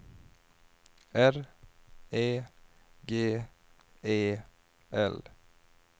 R E G E L